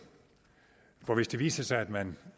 for hvis det viser sig at man